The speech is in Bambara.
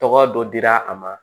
Tɔgɔ dɔ dira a ma